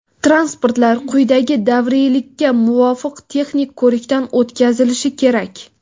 transportlar quyidagi davriylikka muvofiq texnik ko‘rikdan o‘tkazilishi kerak:.